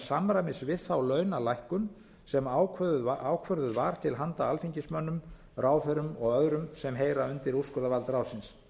samræmis við þá launalækkun sem ákvörðuð var til handa alþingismönnum ráðherrum og öðrum sem heyra undir úrskurðarvald ráðsins